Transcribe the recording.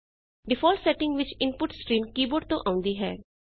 default setting ਵਿੱਚ input stream keyboard ਤੋ ਆਉਂਦੀ ਹੈ